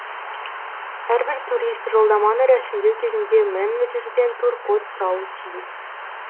әрбір турист жолдаманы рәсімдеу кезінде менеджерден туркод сұрауы тиіс